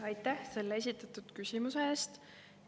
Aitäh selle esitatud küsimuse eest!